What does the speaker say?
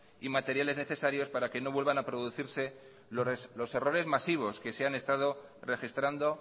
y materiales necesarios para que no vuelvan a producirse los errores masivos que se han estando registrando